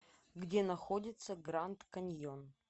где находится гранд каньон